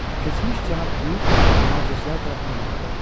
Keçmiş cənab Hü mühafizəçilər tərəfindən aparıldı.